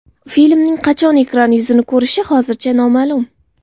Filmning qachon ekran yuzini ko‘rishi hozircha noma’lum.